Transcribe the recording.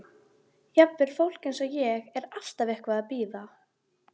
Auðvitað skiltið utan á mínum, sagði Gulli.